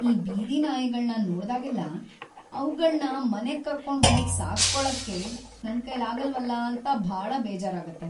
ಈ ಬೀದಿ ನಾಯಿಗಳ್ನ ನೋಡ್ದಾಗೆಲ್ಲ ಅವ್ಗಳ್ನ ಮನೆಗ್ ಕರ್ಕೊಂಡ್‌ ಹೋಗ್ ಸಾಕ್ಕೊಳಕ್ಕೆ ನನ್ಕೈಲಾಗಲ್ವಲ್ಲ ಅಂತ ಭಾಳ ಬೇಜಾರಾಗತ್ತೆ.